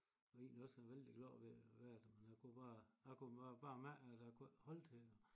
Var egentlig også vældig glad ved at være der men jeg kunne bare jeg kunne bare mærke at jeg ikke kunne holde til det